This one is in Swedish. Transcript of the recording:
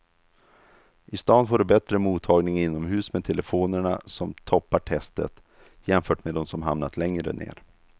I stan får du bättre mottagning inomhus med telefonerna som toppar testet jämfört med de som hamnat längre ner.